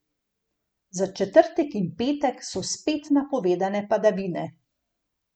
Za četrtek in petek so spet napovedane padavine.